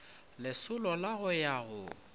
lesolo la go ya go